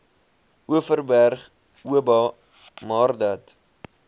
overberg oba maardat